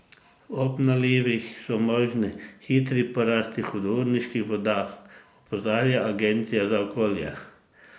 Ob nalivih so možni hitri porasti hudourniških voda, opozarja Agencija za okolje.